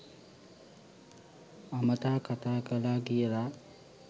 අමතා කථා කළා කියලා.